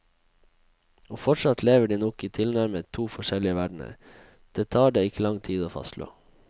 Og fortsatt lever de nok i tilnærmet to forskjellige verdener, det tar det ikke lang tid å fastslå.